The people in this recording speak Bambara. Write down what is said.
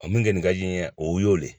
O min kɛ nin ka di n ye o y'o de